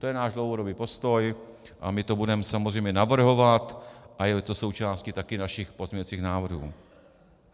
To je náš dlouhodobý postoj a my to budeme samozřejmě navrhovat a je to součástí taky našich pozměňujících návrhů.